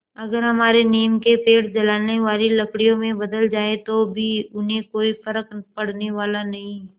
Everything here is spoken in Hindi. अगर हमारे नीम के पेड़ जलाने वाली लकड़ियों में बदल जाएँ तो भी उन्हें कोई फ़र्क पड़ने वाला नहीं